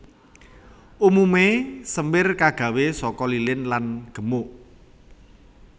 Umumé semir kagawé saka lilin lan gemuk